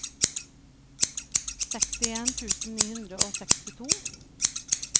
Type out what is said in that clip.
sekstien tusen ni hundre og sekstito